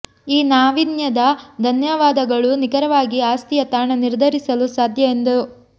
ಈ ನಾವೀನ್ಯದ ಧನ್ಯವಾದಗಳು ನಿಖರವಾಗಿ ಆಸ್ತಿಯ ತಾಣ ನಿರ್ಧರಿಸಲು ಸಾಧ್ಯ ಎಂದು